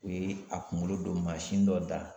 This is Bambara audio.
O ye a kungolo don mansɛn dɔ da